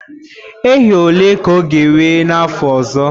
Ehi ole ka ọ ga-enwe na afọ ọzọ?